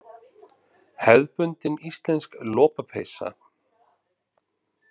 Hefðbundin íslensk lopapeysa.